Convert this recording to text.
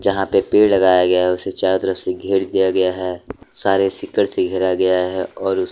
यहा पे पेड़ लगाया गया उसे चारो तरफ से घेर दिया गया है सारे सिकड़ से घेरा गया है और--